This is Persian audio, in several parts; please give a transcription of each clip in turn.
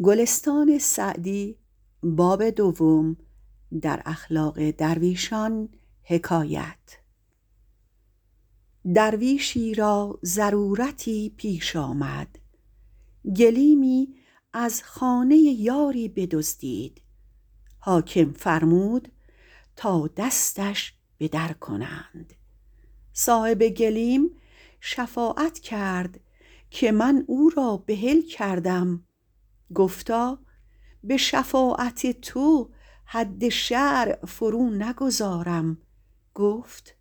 درویشی را ضرورتی پیش آمد گلیمی از خانه یاری بدزدید حاکم فرمود که دستش بدر کنند صاحب گلیم شفاعت کرد که من او را بحل کردم گفتا به شفاعت تو حد شرع فرو نگذارم گفت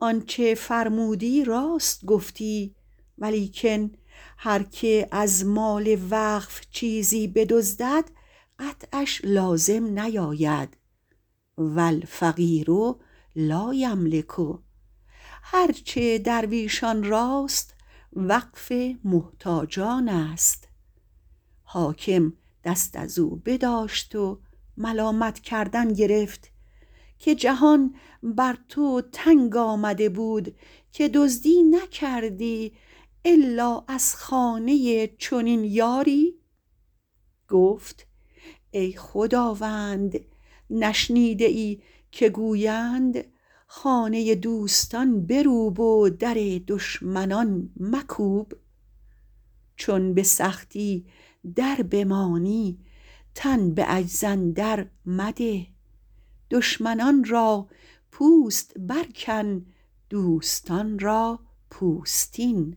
آنچه فرمودی راست گفتی ولیکن هر که از مال وقف چیزی بدزدد قطعش لازم نیاید و الفقیر لایملک هر چه درویشان راست وقف محتاجان است حاکم دست از او بداشت و ملامت کردن گرفت که جهان بر تو تنگ آمده بود که دزدی نکردی الا از خانه چنین یاری گفت ای خداوند نشنیده ای که گویند خانه دوستان بروب و در دشمنان مکوب چون به سختی در بمانی تن به عجز اندر مده دشمنان را پوست بر کن دوستان را پوستین